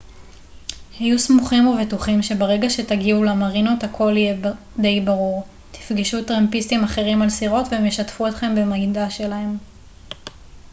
היו סמוכים ובטוחים שברגע שתגיעו למרינות הכל יהיה די ברור תפגשו טרמפיסטים אחרים על סירות והם ישתפו אתכם במידע שלהם